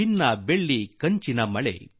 ಭಾರತದ ಶುಭಾರಂಭವಾಗಲಿ